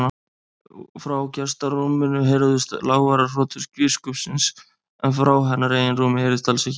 Frá gestarúminu heyrðust lágværar hrotur biskupsins en frá hennar eigin rúmi heyrðist alls ekki neitt.